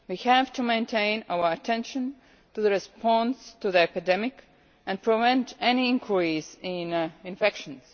We have to maintain our attention on the response to the epidemic and prevent any increase in infections.